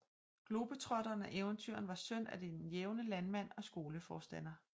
Globetrotteren og eventyreren var søn af den jævne landmand og skoleforstander